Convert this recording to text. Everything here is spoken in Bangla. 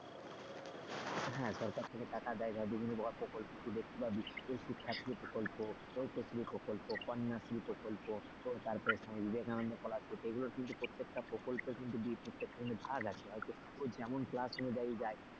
হ্যাঁ সরকার থেকে টাকা দেয় বিভিন্ন ধরনের প্রকল্প ঐকশ্রী প্রকল্প কন্যাশ্রী প্রকল্প তারপরে বিবেকানন্দ scholarship এগুলো কিন্তু প্রত্যেকটা প্রকল্পে কিন্তু প্রত্যেকটা কিন্তু ভাগ আছে। যেমন class অনুযায়ী দেয়,